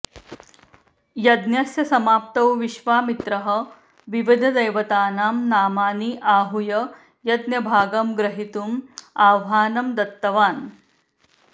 यज्ञस्य समाप्तौ विश्वामित्रः विविधदेवतानां नामानि आहूय यज्ञभागं ग्रहीतुम् आह्वानं दत्तवान्